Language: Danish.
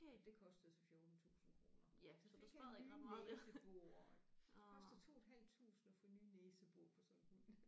Og det kostede så 14 tusind kroner så der fik han nye næsebor det koster 2 et halvt tusind at få nye næsebor på sådan en hund